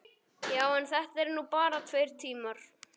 Já, en þetta eru nú bara tveir tímar.